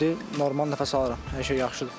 İndi normal nəfəs alıram, hər şey yaxşıdır.